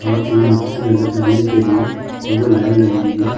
साथ ही के अंदर जाने के लिए लोगों लाइन लगी हुई है।